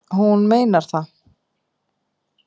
Hún meinar það.